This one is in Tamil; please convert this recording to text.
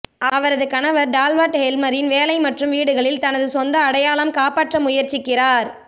அவரது கணவர் டார்வால்ட் ஹெல்மரின் வேலை மற்றும் வீடுகளில் தனது சொந்த அடையாளம் காப்பாற்ற முயற்சிக்கிறார்